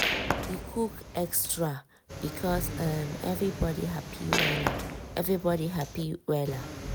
he cook extra because um everybody happy wella. everybody happy wella.